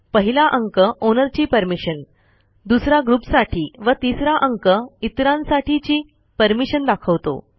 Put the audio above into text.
पहिला अंक ओनरची परमिशन दुसरा ग्रुपसाठी व तिसरा अंक इतरांसाठीची परमिशन दाखवतो